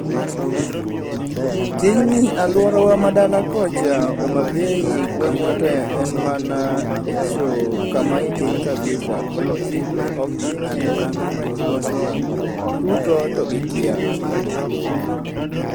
Tinji alworawa ma dala kocha Homa Bay gweng'wa to en mana echo kama i piny kabisa, koro tijni oktime en gima ji mang'eny chutho togikia.